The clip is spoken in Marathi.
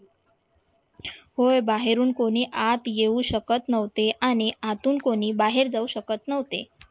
होय बाहेरून कोणी आत येऊ शकत नव्हते आणि आतून कोणी बाहेर जाऊ शकत नव्हते,